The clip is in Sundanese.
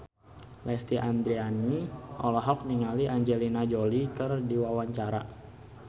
Lesti Andryani olohok ningali Angelina Jolie keur diwawancara